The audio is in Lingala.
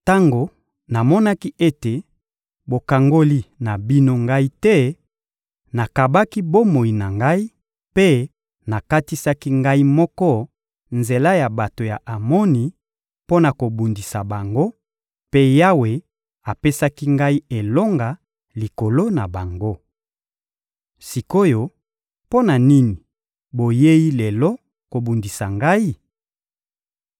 Tango namonaki ete bokangoli na bino ngai te, nakabaki bomoi na ngai, mpe nakatisaki ngai moko nzela ya bato ya Amoni mpo na kobundisa bango; mpe Yawe apesaki ngai elonga likolo na bango. Sik’oyo, mpo na nini boyei lelo kobundisa ngai?